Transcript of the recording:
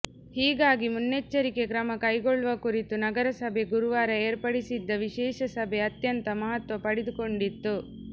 ಹೀಗಾಗಿ ಮುನ್ನೆಚ್ಚರಿಕೆ ಕ್ರಮ ಕೈಗೊಳ್ಳುವ ಕುರಿತು ನಗರಸಭೆ ಗುರುವಾರ ಏರ್ಪಡಿಸಿದ್ದ ವಿಶೇಷ ಸಭೆ ಅತ್ಯಂತ ಮಹತ್ವ ಪಡೆದುಕೊಂಡಿತ್ತು